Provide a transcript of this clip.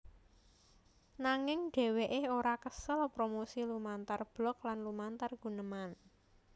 Nanging dhèwèké ora kesel promosi lumantar blog lan lumantar guneman